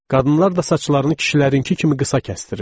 Qadınlar da saçlarını kişilərinki kimi qısa kəsdirirlər.